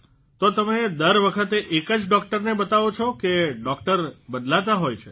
તો તમે દર વખતે એક જ ડોકટરને બતાવો છો કે ડોકટર બદલાતા હોય છે